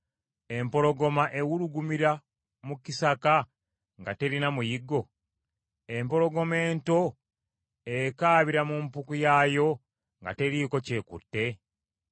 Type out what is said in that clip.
Empologoma ewulugumira mu kisaka nga terina muyiggo? Empologoma ento ekaabira mu mpuku yaayo nga teriiko ky’ekutte?